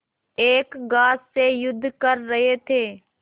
एक ग्रास से युद्ध कर रहे थे